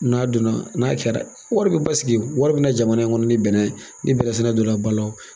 N'a donna n'a kɛra wari bɛ basisigi wari bɛna jamana in kɔnɔ ni bɛnɛ ye ni bɛnɛsɛnɛ donna ba la